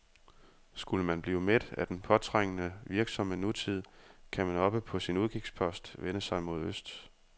Skulle man blive mæt af den påtrængende, virksomme nutid, kan man oppe på sin udkigspost vende sig mod øst.